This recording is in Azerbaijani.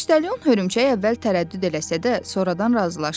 Poçtalyon hörümçək əvvəl tərəddüd eləsə də, sonradan razılaşdı.